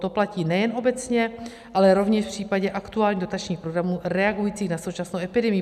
To platí nejen obecně, ale rovněž v případě aktuálních dotačních programů reagujících na současnou epidemii.